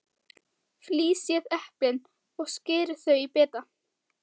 Flysjið eplin og skerið þau í bita.